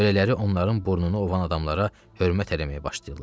Belələri onların burnunu ovan adamlara hörmət eləməyə başlayırlar.